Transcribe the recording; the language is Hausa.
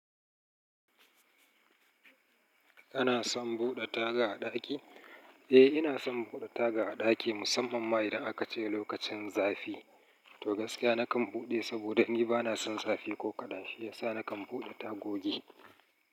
Kana son buɗe taga a ɗaki? Eh ina son buɗe taga a ɗaki, musamman ma idan aka ce lokacin zafi. To gaskiya nakan buɗe saboda ni bana son zafi ko kaɗan, shi yasa nakan buɗe tagogi.